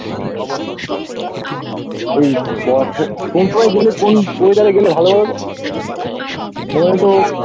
এই বর্ষায় কোন সময় কোন weather এ গেলে ভালো বলতো আমায় একটু